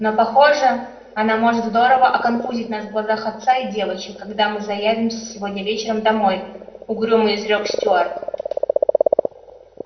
но похоже она может здорово оконфузить нас в глазах отца и девочек когда мы заявимся сегодня вечером домой угрюмо изрёк стюарт